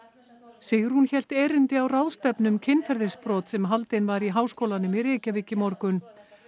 Sigrún hélt erindi á ráðstefnu um kynferðisbrot sem haldin var í Háskólanum í Reykjavík í morgun